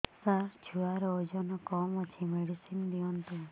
ସାର ଛୁଆର ଓଜନ କମ ଅଛି ମେଡିସିନ ଦିଅନ୍ତୁ